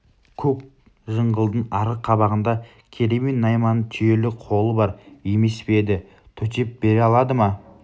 көк жыңғылдың арғы қабағында керей мен найманның түйелі қолы бар емес пе еді төтеп бере алмады ма